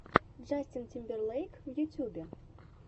джастин тимберлейк в ютюбе